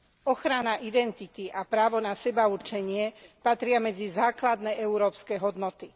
Ochrana identity a právo na sebaurčenie patria medzi základné európske hodnoty.